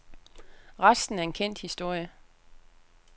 Resten er en kendt historie.